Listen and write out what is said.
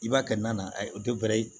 I b'a kɛ na a ye